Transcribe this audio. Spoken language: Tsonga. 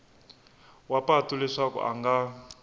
wa patu leswaku a nga